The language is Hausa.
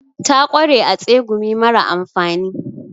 Ta kware a tsegumi mara amfani.